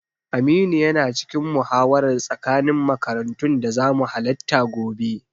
Aminu yana cikin muhawarar tsakanin makarantun da zamu halatta gobe.